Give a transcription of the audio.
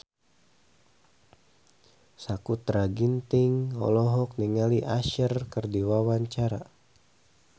Sakutra Ginting olohok ningali Usher keur diwawancara